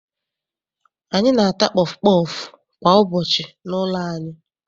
Anyị na-ata pọfụ pọọfụ kwa ụbọchị n'ụlọ anyị.